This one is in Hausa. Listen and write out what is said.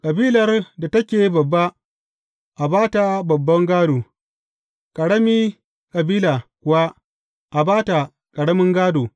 Kabilar da take babba, a ba ta babban gādo, ƙarami kabila kuwa, a ba ta ƙaramin gādo.